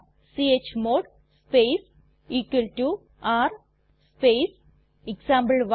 chmod space r space example one